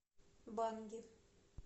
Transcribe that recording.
банги